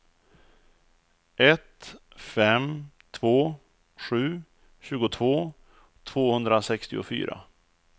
ett fem två sju tjugotvå tvåhundrasextiofyra